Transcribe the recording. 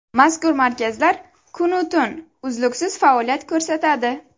Mazkur markazlar kun-u tun, uzluksiz faoliyat ko‘rsatadi.